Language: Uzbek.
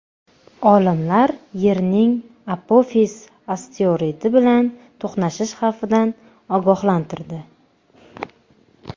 Olimlar Yerning Apofis asteroidi bilan to‘qnashish xavfidan ogohlantirdi.